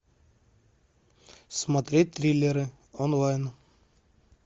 смотреть триллеры онлайн